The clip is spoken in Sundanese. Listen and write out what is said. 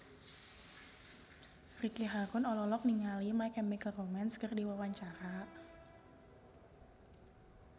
Ricky Harun olohok ningali My Chemical Romance keur diwawancara